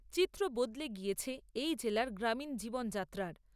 চিত্র বদলে গিয়েছে এই জেলার গ্রামীণ জীবনযাত্রার।